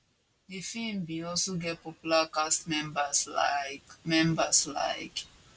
di feem bin also get popular cast members like members like